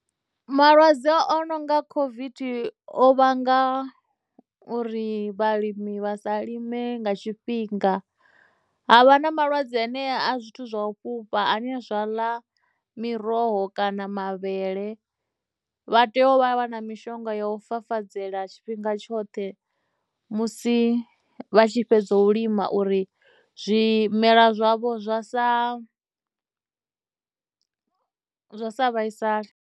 Malwadze o nonga COVID o vhanga uri vhalimi vha sa lime nga tshifhinga. Ha vha na malwadze anea a zwithu zwa u fhufha ane a zwa ḽa miroho kana mavhele, vha tea u vha vha na mishonga ya u fafadzela tshifhinga tshoṱhe musi vha tshi fhedza u lima uri zwimela zwavho zwa sa, zwa sa vhaisale.